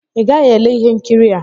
ị gaghị ele ihe nkiri a!